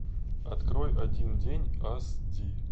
открой один день ас ди